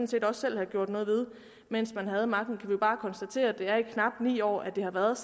set også selv have gjort noget ved mens de havde magten kan bare konstatere at det har i knap ni år at det har været